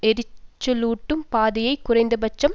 எரிச்சலூட்டும் பாதையை குறைந்தபட்சம்